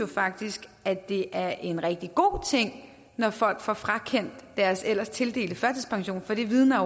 faktisk at det er en rigtig god ting når folk får frakendt deres ellers tildelte førtidspension for det vidner